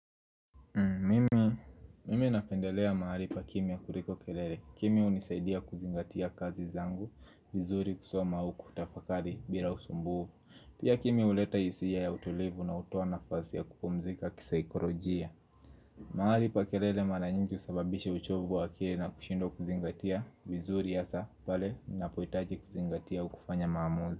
Mimi na pendelea mahali pa kimia kuliko kelele. Kimia hunisaidia kuzingatia kazi zangu, vizuri kusoma au kutafakali bila usumbuvu. Pia kimi huleta hisia ya utulivu na hutoa nafasi ya kupumzika kisayikorojia. Mahali pa kelele mara nyingi husababishe uchovu wa akili na kushindwa kuzingatia vizuri hasa pale nina pohitaji kuzingatia au kufanya maamuzi.